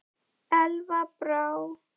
Elva Brá.